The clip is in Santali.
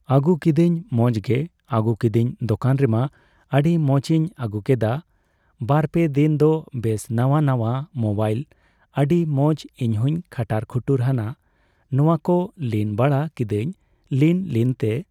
ᱟᱹᱜᱩ ᱠᱤᱫᱟᱹᱧ ᱢᱚᱪᱜᱮ ᱟᱹᱜᱩ ᱠᱤᱫᱟᱹᱧ ᱫᱚᱠᱟᱱ ᱨᱮᱢᱟ ᱟᱹᱰᱤ ᱢᱚᱪᱤᱧ ᱟᱹᱜᱩᱠᱮᱫᱟ ᱵᱟᱨᱯᱮ ᱫᱤᱱ ᱫᱚ ᱵᱮᱥ ᱱᱟᱣᱟ ᱱᱟᱣᱟ ᱢᱚᱵᱟᱭᱤᱞ ᱟᱹᱰᱤ ᱢᱚᱪ ᱤᱧᱦᱚᱧ ᱠᱷᱟᱴᱟᱨ ᱠᱷᱩᱴᱩᱨ ᱦᱟᱱᱟ ᱱᱟᱣᱟᱠᱚ ᱞᱤᱱ ᱵᱟᱲᱟ ᱠᱤᱫᱟᱹᱧ ᱞᱤᱱ ᱞᱤᱱᱛᱮ